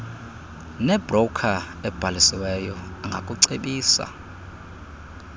nebroker ebhalisiweyo angakucebisa